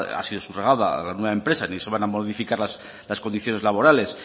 ha sido subrogada a la nueva empresa que se van a modificar las condiciones laborales